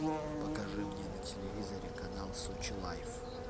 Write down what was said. покажи мне на телевизоре канал сочи лайф